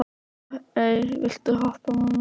Móey, viltu hoppa með mér?